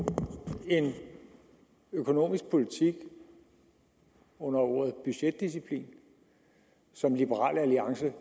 en økonomisk politik under ordet budgetdisciplin som liberal alliance